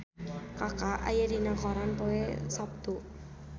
Kaka aya dina koran poe Saptu